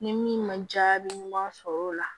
Ni min ma jaabi ɲuman sɔrɔ o la